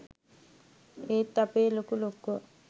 ඒත් අපේ ලොකු ලොක්කෝ